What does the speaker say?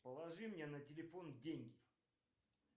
положи мне на телефон деньги